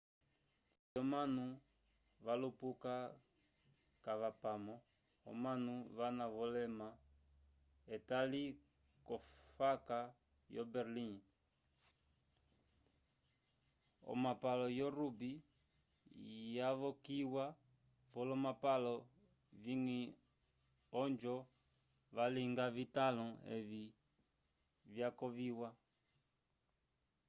o ongele yomanu valupuka vakapamo omanu vana ovilema etali ko faka yo berlim o mapalo yo rugby yavokiwa vo kolomapalo vingi ojo vyalinga vitanlo evi vyavokiwa